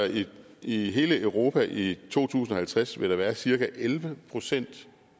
i hele europa i to tusind og halvtreds være cirka elleve procent